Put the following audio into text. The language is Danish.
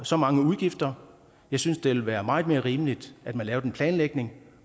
så mange udgifter jeg synes det ville være meget mere rimeligt at man laver en planlægning